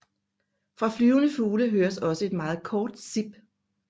Fra flyvende fugle høres også et meget kort sip